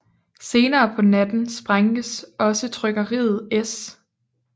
Senere på natten sprænges også trykkeriet S